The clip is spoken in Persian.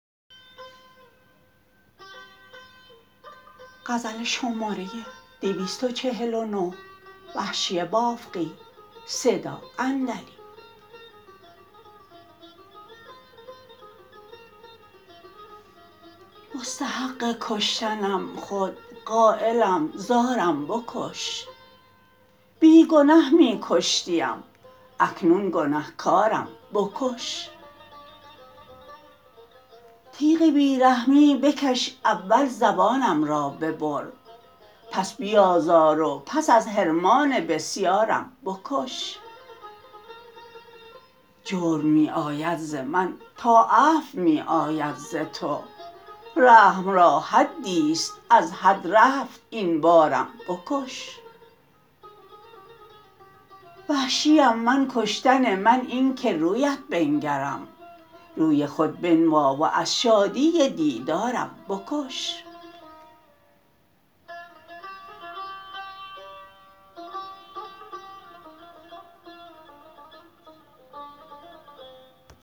مستحق کشتنم خود قایلم زارم بکش بی گنه می کشتیم اکنون گنهکارم بکش تیغ بیرحمی بکش اول زبانم را ببر پس بیازار و پس از حرمان بسیارم بکش جرم می آید زمن تا عفو می آید ز تو رحم را حدیست از حد رفت این بارم بکش وحشیم من کشتن من اینکه رویت بنگرم روی خود بنما و از شادی دیدارم بکش